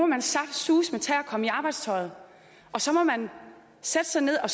man saftsuseme tage at komme i arbejdstøjet og så må man sætte sig ned og